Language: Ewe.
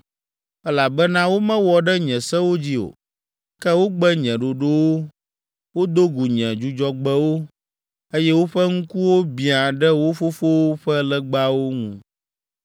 elabena womewɔ ɖe nye sewo dzi o, ke wogbe nye ɖoɖowo, wodo gu nye Dzudzɔgbewo, eye woƒe ŋkuwo biã ɖe wo fofowo ƒe legbawo ŋu.